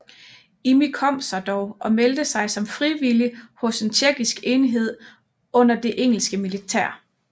Imi kom sig dog og meldte sig som frivillig hos en tjekkisk enhed under det engelske militær